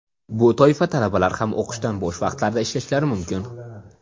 Bu toifa talabalar ham o‘qishdan bo‘sh vaqtlarida ishlashlari mumkin.